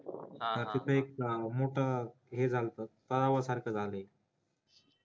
तर तिथं एक मोठं हे झालत तलावा सारखं झालंय